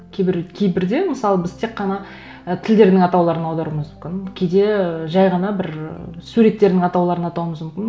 кейбірде мысалы біз тек қана і тілдердің атауларын аударуымыз мүмкін кейде жай ғана бір ы суреттердің атауларын атауымыз мүмкін